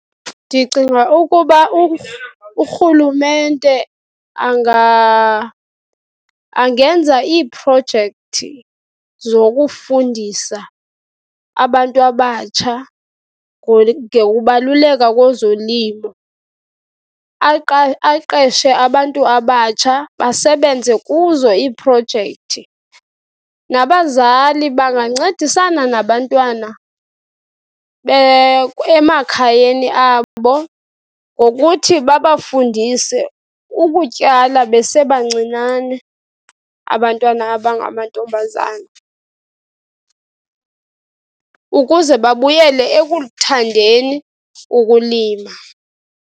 Ndicinga ukuba urhulumente angenza iiprojekthi zokufundisa abantu abatsha ngokubaluleka kozolimo. Aqeshe abantu abatsha basebenze kuzo iiprojekthi. Nabazali bangancedisana nabantwana emakhayeni abo ngokuthi babafundise ukutyala besebancinane abantwana abangamantombazana ukuze babuyele ekulithandeni ukulima.